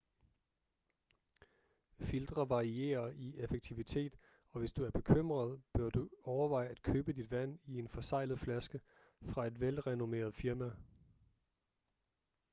filtre varierer i effektivitet og hvis du er bekymret bør du overveje at købe dit vand i en forseglet flaske fra et velrenommeret firma